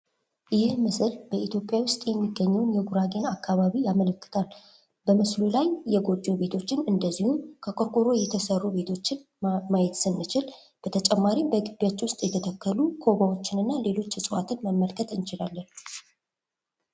ይህ ምስል በኢትዮጵያ ውስጥ የሚገኘውን የጉራጌን አካባቢ ያመለክታል። በምስሉ ላይ የጎጆ ቤቶችን እንድሁም ከቆርቆሮ የተሰሩ ቤቶችን ማየት ስንችል በተጨማሪም በግቢያቸው ውስጥ የተተከሉ ኮባዎችን እና ሌሎች ዕፅዋቶች መመልከት እንችላለን።